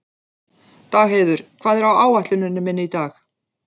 Dagheiður, hvað er á áætluninni minni í dag?